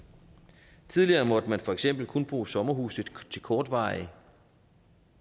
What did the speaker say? tidligere måtte man for eksempel kun bruge sommerhuse til kortvarige